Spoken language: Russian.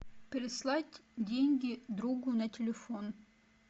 переслать деньги другу на телефон